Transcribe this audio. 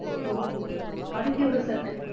okay அதுக்கு எவ்வளவு sir கட்டணும்?